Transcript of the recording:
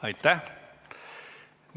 Aitäh!